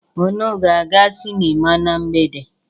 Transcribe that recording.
Unu ga-aga sịnịma na mgbede?